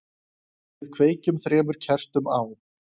Við kveikjum þremur kertum á,